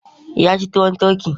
Ya ci tuwon turkey.